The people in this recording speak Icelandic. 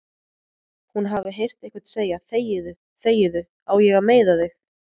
Hún hafi heyrt einhvern segja: þegiðu, þegiðu, á ég að meiða þig?